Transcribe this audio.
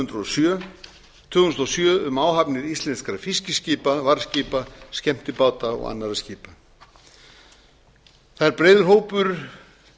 þúsund og sjö um áhafnir íslenskra fiskiskipa varðskipa skemmtibáta og annarra skipa það er breiður hópur